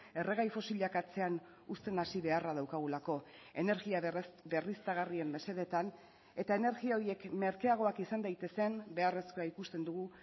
erregai fosilak atzean uzten hasi beharra daukagulako energia berriztagarrien mesedetan eta energia horiek merkeagoak izan daitezen beharrezkoa ikusten dugu